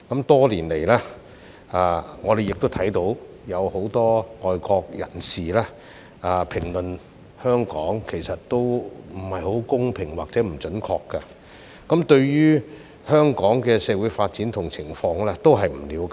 多年來，我們看到很多外國人對香港的評論其實都有欠公平或不準確，他們對於香港社會的發展及情況亦不了解。